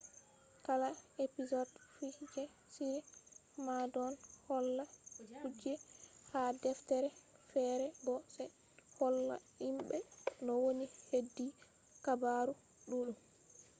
kala episod fu je shiri man don holla kuje ha deftere fere bo se holla himbe no woni hedi habaru duddum